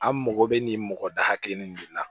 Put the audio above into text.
An mago bɛ nin mɔgɔ da kelen nin de la